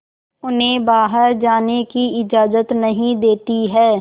उन्हें बाहर जाने की इजाज़त नहीं देती है